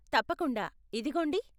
తప్పకుండా, ఇదిగోండి.